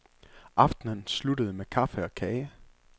Aftenen sluttede med kaffe og kage.